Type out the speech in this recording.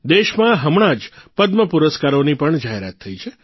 દેશમાં હમણાં જ પદ્મપુરસ્કારોની પણ જાહેરાત થઇ છે